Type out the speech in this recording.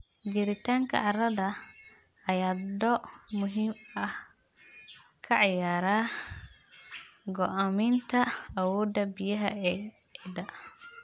Jiritaanka carrada ayaa door muhiim ah ka ciyaara go'aaminta awoodda biyaha ee ciidda.